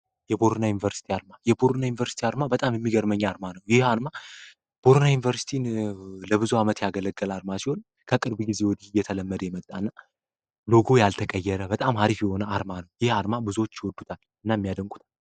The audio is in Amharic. የቦረና ዩኒቨርስቲ አርማ በጣም የሚገርመኝ አርማ ነው። ይህ አርማ ቦረናን ዩኒቨርስቲ ለብዙ ዓመት ያገለገል ሲሆን ፤ አድማሱን ከቅርብ ጊዜ የተለመደ ሎጎ ያልተቀየረ በጣም አሪፍ የሆነ አርማ ነው። ይህን አርማ ብዙዎች ይወዱታ እናም ያደንቁታል።